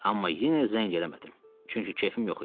Amma yenə zəng eləmədim, çünki kefim yox idi.